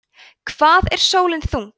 hvað er sólin þung